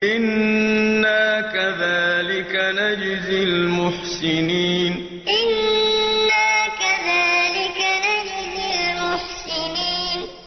إِنَّا كَذَٰلِكَ نَجْزِي الْمُحْسِنِينَ إِنَّا كَذَٰلِكَ نَجْزِي الْمُحْسِنِينَ